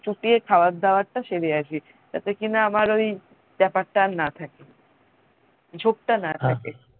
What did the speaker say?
চুটিয়ে খাবার দাবার টা সেরে আসি তাতে কি না আমার ওই ব্যাপারটা আর না থাকে ঝোক টা না থাকে